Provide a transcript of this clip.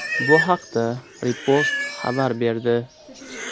Bu haqda Repost xabar berdi.